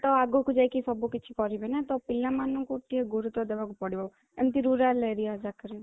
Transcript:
ତ ଆଗକୁ ଯାଇକି ସବୁ କିଛି କରିବେ ନା ତ ପିଲା ମାନଙ୍କୁ ଟିକେ ଗୁରୁତ୍ୱ ଦେବାକୁ ପଡିବ ଏମିତି rural area ଯାକରେ